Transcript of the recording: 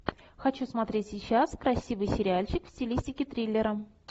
хочу смотреть сейчас красивый сериальчик в стилистике триллера